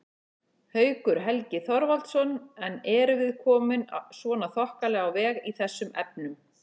Haukur Helgi Þorvaldsson: En erum við komin svona þokkalega á veg í þessum efnum?